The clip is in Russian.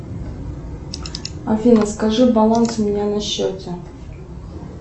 афина скажи баланс у меня на счете